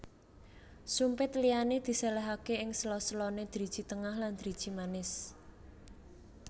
Sumpit liyane diselehake ing sela selane driji tengah lan driji manis